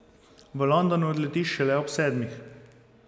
V London odletiš šele ob sedmih.